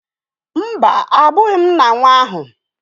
Mba, abụghị m nna nwa ahụ.